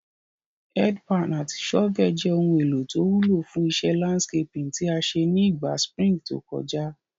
Head pan àti shovel je oun èlò to wúlò fún isé landscaping tí a sé ni ìgba spring to kojá